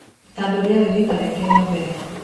Tondũ riarĩ rita rĩake rĩa mbere